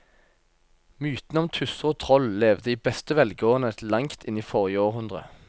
Mytene om tusser og troll levde i beste velgående til langt inn i forrige århundre.